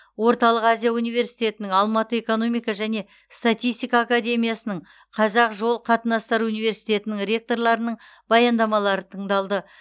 орталық азия университетінің алматы экономика және статистика академиясының қазақ жол қатынастары университетінің ректорларының баяндамалары тыңдалды